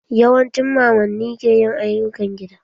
Yawancin mamanni ke yin ayyukan gida.